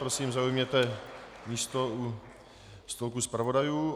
Prosím, zaujměte místo u stolku zpravodajů.